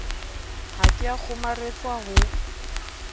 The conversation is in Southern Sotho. ha ke a kgomaretswa ho